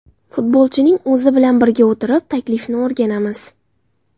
Futbolchining o‘zi bilan birga o‘tirib, taklifni o‘rganamiz.